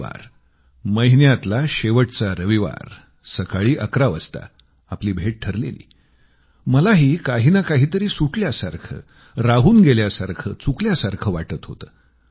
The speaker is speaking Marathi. रविवार महिन्यातला शेवटचा रविवार सकाळी 11 वाजता आपली भेट ठरलेली मलाही काही ना काहीतरी सुटल्यासारखं राहून गेल्यासारखं चुकल्यासारखं वाटत होतं